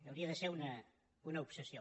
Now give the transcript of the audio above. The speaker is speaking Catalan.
hauria de ser una obsessió